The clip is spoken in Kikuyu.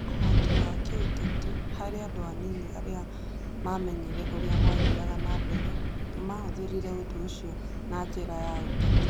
Ũhoti wa gĩũteti: Harĩ andũ anini arĩa maamenyire ũrĩa gwathiaga na mbere, nĩ maahũthĩrire ũndũ ũcio na njĩra ya ũteti.